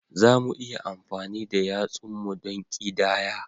Za mu iya amfani da yatsunmu don ƙidaya